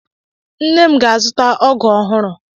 Nne m ga-azụta ọgụ ọhụrụ.